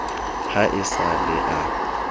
ha e sa le a